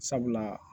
Sabula